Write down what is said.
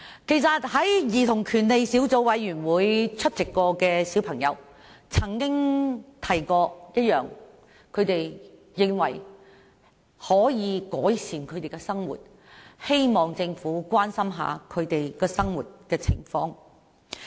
曾經出席兒童權利小組委員會會議的小孩提到，他們認為需要改善生活，希望政府關心他們的生活情況。